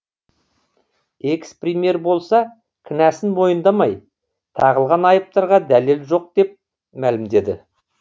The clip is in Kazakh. экс премьер болса кінәсін мойындамай тағылған айыптарға дәлел жоқ деп мәлімдеді